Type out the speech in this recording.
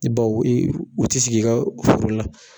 bawo u bɛ t'i sigi i ka foro la